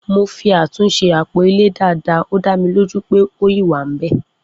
mo fi àtúnṣe apo ile Dàda ọ da mí lo ju pẹ ọ yin wa bẹ